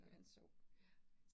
Ja, ja